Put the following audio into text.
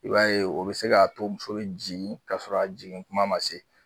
I b'a ye o bj se k'a to muso bi jigin ka sɔrɔ a jigin kuma ma se